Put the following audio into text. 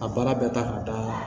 A baara bɛɛ ta ka d'a la